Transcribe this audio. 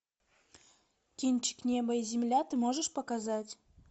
кинчик небо и земля ты можешь показать